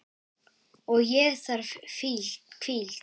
Og ég þarf hvíld.